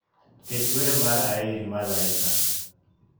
Ket wer mar aeri malaika.